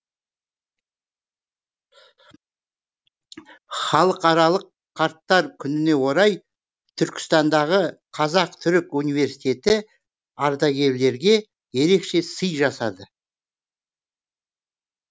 халықаралық қарттар күніне орай түркістандағы қазақ түрік университеті ардагерлерге ерекше сый жасады